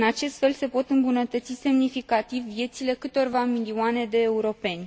În acest fel, se pot îmbunătăți semnificativ viețile câtorva milioane de europeni.